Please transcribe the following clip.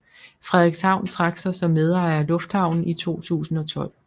Frederikshavn trak sig som medejer af lufthavnen i 2012